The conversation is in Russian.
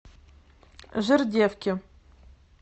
жердевке